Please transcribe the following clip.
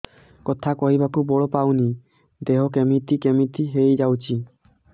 କଥା କହିବାକୁ ବଳ ପାଉନି ଦେହ କେମିତି କେମିତି ହେଇଯାଉଛି